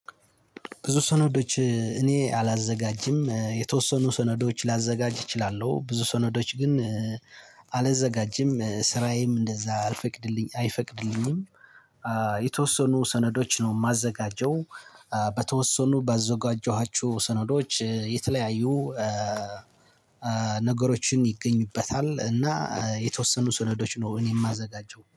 ብዙ ሰነዶች እኔ አላዘጋጅም የተወሰኑ ሰነዶች ላዘጋጅ እችላለሁ ብዙ ሰነዶች ግን አላዘጋጅም ስራዬም እንደዛ አልፈቅድ አይፈቅድልኝም። የተወሰኑ ሰነዶች ነው ማዘጋጀው። በተወሰኑ ባዘጋጀኋችሁ ሰነዶች የተለያዩ ነገሮችን ይገኙበታል። እና የተወሰኑ ስነዶች ነው እኔ ማዘጋጀው